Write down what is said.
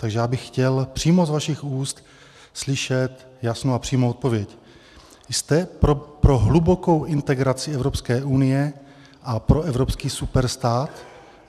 Takže já bych chtěl přímo z vašich úst slyšet jasnou a přímou odpověď: Jste pro hlubokou integraci Evropské unie a pro evropský superstát?